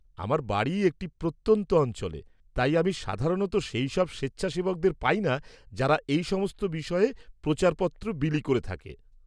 আমার বাড়ি একটি প্রত্যন্ত অঞ্চলে, তাই আমি সাধারণত সেইসব স্বেচ্ছাসেবকদের পাই না যারা এই সমস্ত বিষয়ে প্রচারপত্র বিলি করে থাকে।